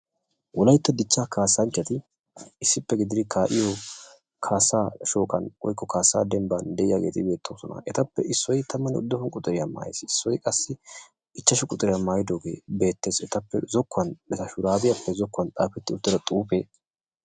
Wolaytta dichcha kaassanchchati issippe gididi kaa'iyo kaassa shooqan woykko kaassa dembban beettoosona. Etappe issoy tamanne uduppun quxuriya mayiis. Issoy qassi ichchashshu quxuriya maayyidooge beettees. Etappe zokkuwan eta shurabiyappe zokkuwan xaafeti uttida xuufe...